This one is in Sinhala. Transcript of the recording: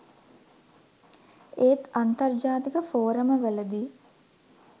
ඒත් අන්තර්ජාතික ෆෝරම වලදී